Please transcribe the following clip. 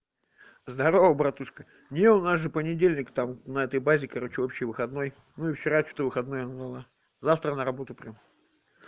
здорово братушка не у нас же понедельник там на этой базе короче вообще выходной мы вчера что-то выходной было завтра на работу прямо